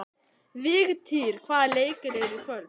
Vigtýr, hvaða leikir eru í kvöld?